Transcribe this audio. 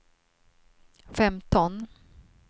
femton